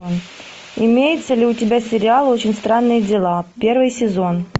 имеется ли у тебя сериал очень странные дела первый сезон